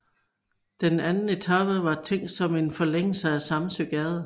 Den anden etape var tænkt som en forlængelse af Samsøgade